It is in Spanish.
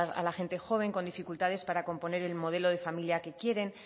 a la gente joven con dificultades para componer el modelo de familia que quieren